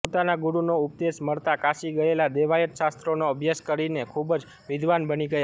પોતાના ગુરુનો ઉપદેશ મળતાં કાશી ગયેલા દેવાયત શાસ્ત્રોનો અભ્યાસ કરીને ખૂબ જ વિદ્વાન બની ગયા